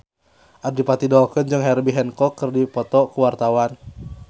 Adipati Dolken jeung Herbie Hancock keur dipoto ku wartawan